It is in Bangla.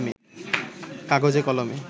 কাগজে কলমে